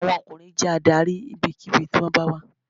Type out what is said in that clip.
Ọkùnrin jẹ́ adarí níbikíbi tí wón bá wà